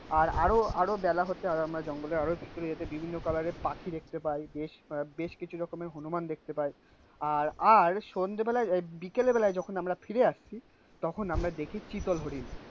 আর আরো আরো বেলা হতে আরো আমরা জঙ্গলের আরো ভিতরে যেতে বিভিন্ন কালার এর পাখি দেখতে পাই. বেশ বেশ কিছু রকমের হনুমান দেখতে পায়. আর আর সন্ধ্যেবেলা বিকেল বেলায় যখন আমরা ফিরে আসি. তখন আমরা দেখেছি চিতল হরিণ,